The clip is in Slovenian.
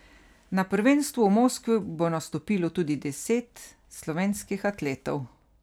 Na prvenstvu v Moskvi bo nastopilo tudi devet slovenskih atletov.